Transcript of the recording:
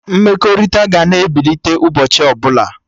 Mmekọrịta ga na-ebilite ụbọchị ọbụla